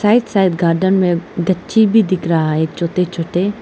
Right side garden में बच्चे भी दिख रहा है छोटे छोटे।